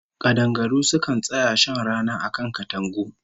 Kadangaru sukan tsaya shan rana a kan katangu